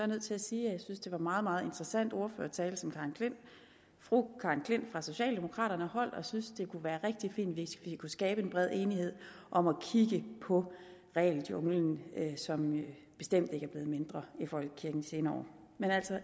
nødt til at sige at jeg synes det var en meget meget interessant ordførertale som fru karen j klint fra socialdemokraterne holdt og jeg synes det kunne være rigtig fint hvis vi kunne skabe en bred enighed om at kigge på regeljunglen som bestemt ikke er blevet mindre i folkekirken de senere år men